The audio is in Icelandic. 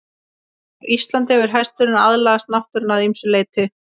Á Íslandi hefur hesturinn aðlagast náttúrunni að ýmsu leyti.